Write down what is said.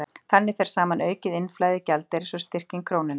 Þannig fer saman aukið innflæði gjaldeyris og styrking krónunnar.